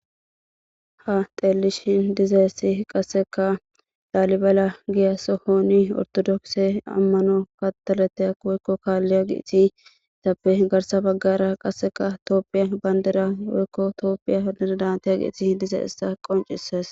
ha teellishin diza essi qasseka daalibala giyasohooni ortodokse ammano katalete a woykko kaalliya giiti itappe garsa baggara qasseka itoophiya bandira woykko itoopphiya dantiya giiti h diza issa qoncisees